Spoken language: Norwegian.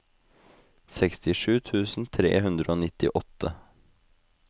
sekstisju tusen tre hundre og nittiåtte